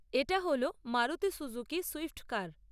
এটা হল Maruti Suzuki Swift কার।